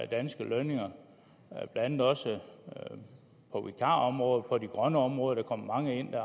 danske lønninger blandt andet også på vikarområdet og på de grønne områder der kommer mange ind